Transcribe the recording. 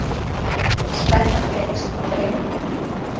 Spennan eykst á Eiðum